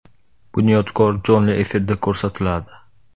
“Bunyodkor” jonli efirda ko‘rsatiladi.